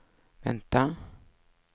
vänta